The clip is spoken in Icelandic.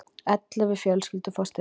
Ellefu fjölskyldur fá styrk